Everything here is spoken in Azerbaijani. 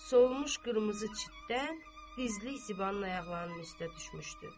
Solmuş qırmızı çitdən dizlik Zibanın ayaqlarının üstə düşmüşdü.